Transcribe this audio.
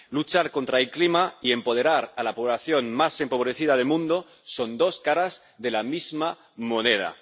Luchar contra el clima y empoderar a la población más empobrecida del mundo son dos caras de la misma moneda.